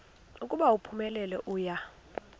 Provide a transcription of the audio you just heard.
ukuba uphumelele uya